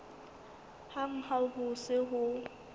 hang ha ho se ho